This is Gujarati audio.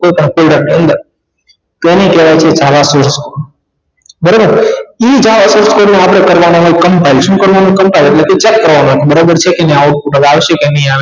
અંદર તેને કહેવાય છે સારા શિક્ષકો બરાબર ઇ જાઈ ઍટલે જ આપણે કરવાના હોય compine શું કરવાનુ compine ઍટલે કે check કરવાનું બરાબર છે કે નહી output હવે આવશે કે નહિ આવે